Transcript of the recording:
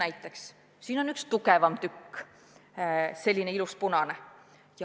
Näiteks siin on üks tugevam tükk, selline ilus punane.